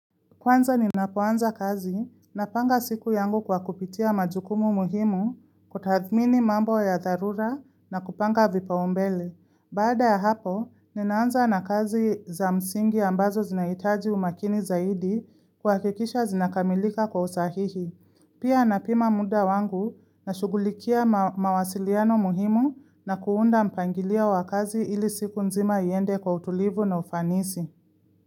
Kwanza ninapoanza kazi napanga siku yangu kwa kupitia majukumu muhimu kutathmini mambo ya tharura na kupanga vipaumbele. Baada ya hapo, ninaanza na kazi za msingi ambazo zinahitaji umakini zaidi kuhakikisha zinakamilika kwa usahihi. Pia napima muda wangu nashughulikia mawasiliano muhimu na kuunda mpangilio wa kazi ili siku nzima iende kwa utulivu na ufanisi.